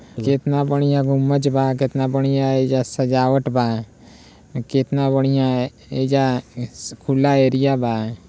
केतना बढ़िया गुंबज बा केतना बढ़िया एइजा सजावट बा केतना बढ़िया एइजा खुला एरिया बा।